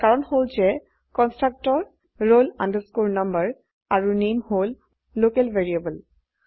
ইয়াৰ কাৰণ হল যে কন্সট্ৰকটৰ roll number আৰু নামে হল লোকেল ভ্যাৰিয়েবল